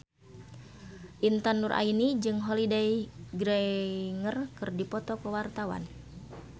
Intan Nuraini jeung Holliday Grainger keur dipoto ku wartawan